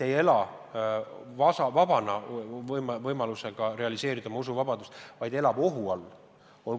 – ei ela vabana, võides realiseerida oma usuvabadust, vaid elavad ohu all.